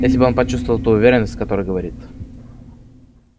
если бы он почувствовал ту уверенность с которой говорит